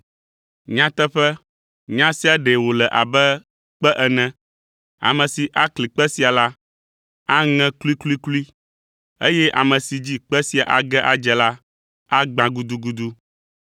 Nyateƒe, nya sia ɖe wòle abe kpe ene; ame si akli kpe sia la, aŋe kluikluiklui, eye ame si dzi kpe sia age adze la, agbã gudugudu.”